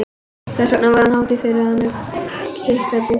Þess vegna var það hátíð fyrir hana að hitta Gústaf